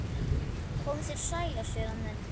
Komið þér sælir séra minn